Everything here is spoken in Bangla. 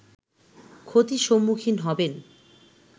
ক্ষতির সম্মুখীন হবেন